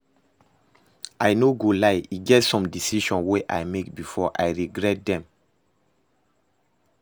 I no go lie e get some decisions wey I make before, I regret dem